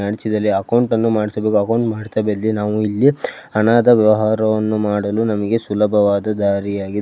account ಅನ್ನು ಮಾಡಿಸಬೇಕು account ನಾವು ಇಲ್ಲಿ ಹಣದ ವ್ಯವಹಾರವನ್ನು ಮಾಡುಲು ನಮಗೆ ಸುಲಭವಾದ ದಾರಿಯಾಗಿದೆ --